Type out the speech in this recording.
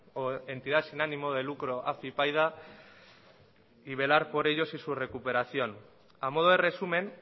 o entidad sin ánimo de lucro afypaida y velar por ellos y su recuperación a modo de resumen